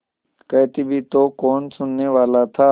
कहती भी तो कौन सुनने वाला था